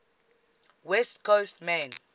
west coast main